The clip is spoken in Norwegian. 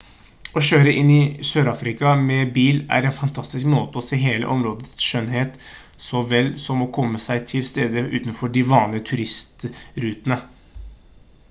å kjøre inn i sørafrika med bil er en fantastisk måte å se hele områdets skjønnhet så vel som å komme seg til steder utenfor de vanlige turistrutene